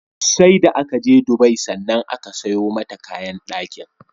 seda akaje Dubai sannan aka sayo mata kayan dakin